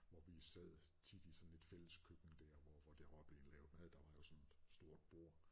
Hvor vi sad tit i sådan et fælleskøkken dér hvor hvor der var blevet lavet mad der var jo sådan et stort bord